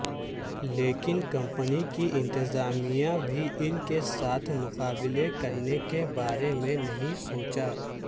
لیکن کمپنی کی انتظامیہ بھی ان کے ساتھ مقابلہ کرنے کے بارے میں نہیں سوچا